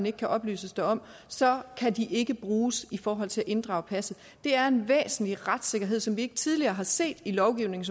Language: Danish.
ikke kan oplyses derom så kan de ikke bruges i forhold til at inddrage passet det er en væsentlig retssikkerhed som vi ikke tidligere har set i lovgivning